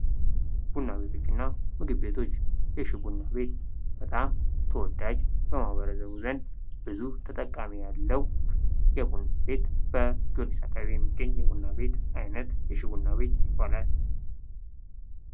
ቡና ቤቶች እና ምግብ ቤቶች፦ የሽ ቡና ቤት በጣም ተወዳጅ በህበርተሰቡ ዘንድ ብዙ ተጠቃሚ ያለው የቡና ቤት ጊወርጊስ አካባቢ የሚገኝ የቡና ቤት አይነት ነው።